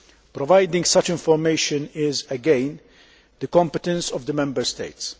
Providing such information is, again, the competence of the Member States.